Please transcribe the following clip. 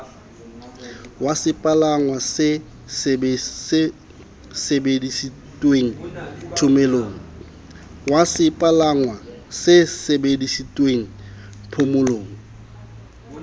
wa sepalangwa se sebedisitweng thomelong